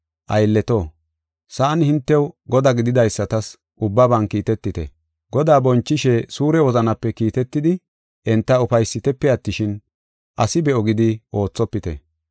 Aylleto, sa7an hintew godaa gididaysatas ubbaban kiitetite. Godaa bonchishe suure wozanape kiitetidi enta ufaysitepe attishin, asi be7o gidi oothopite.